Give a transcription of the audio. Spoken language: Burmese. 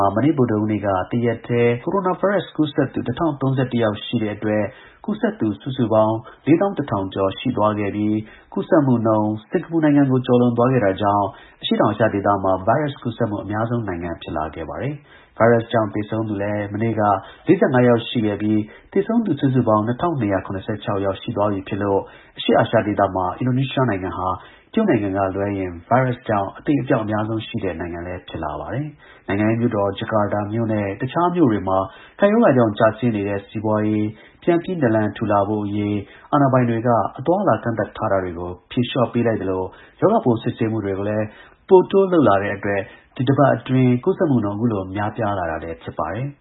ှာ မနေ့ ဗုဒ္ဓဟူးနေ့က တရက်တည်း ကိုရိုနာဗိုင်းရပ်စ်ကူးစက်သူ ၁၀၃၁ ယောက်ရှိတဲ့ အတွက် ကူးစက်သူ စုစုပေါင်း ၄၁၀၀၀ ကျော်ရှိသွားခဲ့ပြီး ကူးစက်မှုနှုန်း စင်္ကာပူကို ကျော်လွန်သွားခဲ့တာကြောင့် အရှေ့တောင်အာရှဒေသမှာ ဗိုင်းရပ်စ် ကူးစက် မှု အများဆုံး နိုင်ငံ ဖြစ်လာခဲ့ပါတယ်။ ဗိုင်းရပ်စ်ကြောင့် သေဆုံးသူလည်း မနေ့က ၄၅ ယောက် ရှိခဲ့ပြီး သေဆုံးသူ စုစုပေါင်း ၂၂၇၆ ယောက်ရှိသွားပြီ ဖြစ်လို့ အရှေ့အာရှဒေသမှာ အင်ဒိုနီးရှားနိုင်ငံဟာ တရုတ်နိုင်ငံကလွဲရင် ဗိုင်းရပ်စ်ကြောင့် အသေအပျောက် အများဆုံးရှိတဲ့ နိုင်ငံလည်း ဖြစ်လာပါတယ်။ နိုင်ငံရဲ့ မြို့တော် Jakarta နဲ့တခြားမြို့တွေမှာ ကပ်ရောဂါကြောင့် ကျဆင်းနေတဲ့ စီးပွါးရေး ပြန်ပြီးနလံထူလာနိုင်ဖို့အရေး အာဏာ ပိုင်တွေက အသွားအလာ ကန့်သတ်ထားတာတွေကို ဖြေလျှော့ပေးလိုက်သလို ရောဂါပိုး စစ်ဆေးမှုတွေ လည်း ပိုတိုးလုပ်လာတဲ့ အတွက် ဒီသီတင်းပတ်တွေအတွင်း ကူးစက်မှုနှုန်း အခုလို ပိုများလာတာလည်း ဖြစ်ပါတယ်။